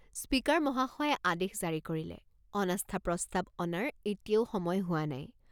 Speaker মহাশয়ে আদেশ জাৰি কৰিলে অনাস্থা প্ৰস্তাৱ অনাৰ এতিয়াও সময় হোৱা নাই।